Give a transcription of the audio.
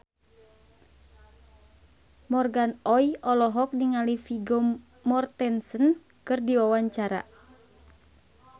Morgan Oey olohok ningali Vigo Mortensen keur diwawancara